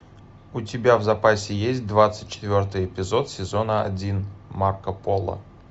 у тебя в запасе есть двадцать четвертый эпизод сезона один марко поло